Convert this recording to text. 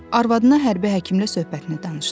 Arvadına hərbi həkimlə söhbətini danışdı.